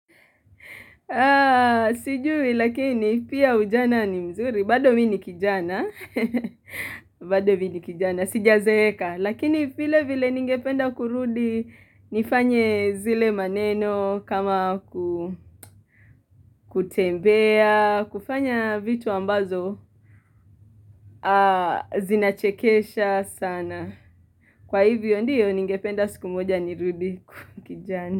Sijui lakini pia ujana ni mzuri. Bado mi ni kijana. Bado mi ni kijana. Sijazeka. Lakini vile vile ningependa kurudi nifanye zile maneno kama kutembea. Kufanya vitu ambazo zinachekesha sana. Kwa hivyo ndiyo ningependa siku moja ni rudi kuwa kijana.